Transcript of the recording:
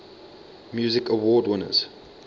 music awards winners